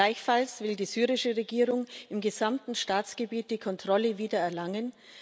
Gleichfalls will die syrische Regierung im gesamten Staatsgebiet die Kontrolle wiedererlangen.